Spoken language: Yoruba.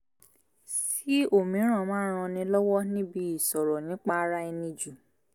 sí òmíràn máa ń ran ni lọ́wọ́ níbi ìsọ̀rọ̀ nípa ara ẹni jù